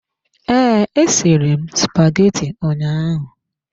Ee, esiri m spaghetti ụnyaahụ.